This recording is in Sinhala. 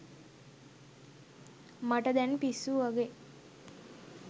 මට දැන් පිස්සු වගේ